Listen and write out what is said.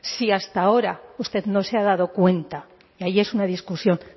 si hasta ahora usted no se ha dado cuenta y ahí es una discusión